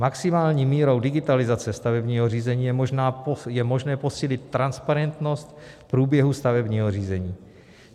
Maximální mírou digitalizace stavebního řízení je možné posílit transparentnost průběhu stavebního řízení.